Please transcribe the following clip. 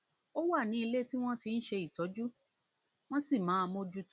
ó wà ní ilé tí wọn ti ń ṣe ìtọjú wọn sì máa bójú tó o